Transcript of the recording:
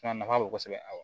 Fana nafa bɛ kosɛbɛ a la